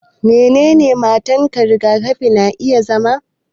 Menene matakan rigakafi na iya zama